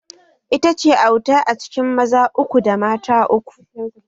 Ita ce auta a cikin maza uku da mata uku